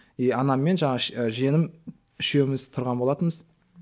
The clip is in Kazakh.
и анаммен жаңағы і жиенім үшеуміз тұрған болатынбыз